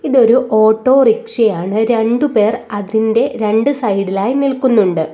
ഇതൊരു ഓട്ടോറിക്ഷയാണ് രണ്ട് പേർ അതിൻ്റെ രണ്ട് സൈഡിലായി നിൽക്കുന്നുണ്ട്.